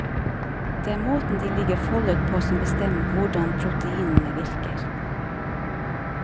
Det er måten de ligger foldet på som bestemmer hvordan proteinene virker.